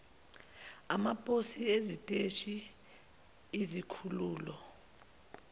amaposi iziteshi izikhululo